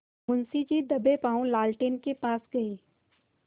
मुंशी जी दबेपॉँव लालटेन के पास गए